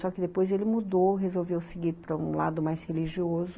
Só que depois ele mudou, resolveu seguir para um lado mais religioso.